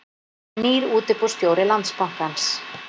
Nýr útibússtjóri Landsbankans